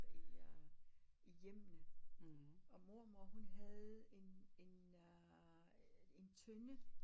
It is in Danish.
I øh i hjemmene og mormor hun havde en en en tønde